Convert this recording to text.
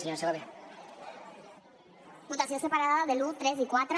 votació separada de l’un tres i quatre